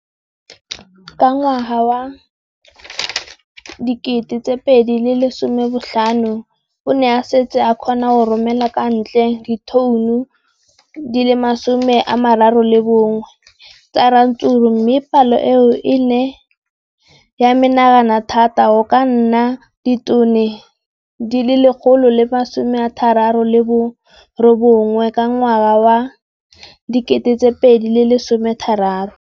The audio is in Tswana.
Ka ngwaga wa 2015, o ne a setse a kgona go romela kwa ntle ditone di le 31 tsa ratsuru mme palo eno e ne ya menagana thata go ka nna ditone di le 168 ka ngwaga wa 2016.